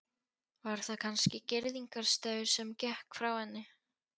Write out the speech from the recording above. Var það kannski girðingarstaur sem gekk frá henni.